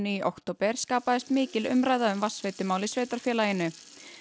í október skapaðist mikil umræða um vatnveitumál í sveitarfélaginu